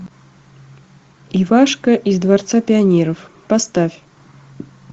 ивашка из дворца пионеров поставь